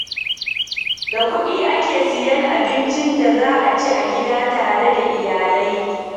Da kuɗi ake sayen abincin da za a ci a gida tare da iyalai.